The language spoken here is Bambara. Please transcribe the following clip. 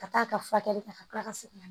Ka taa a ka furakɛli kɛ ka kila ka segin ka na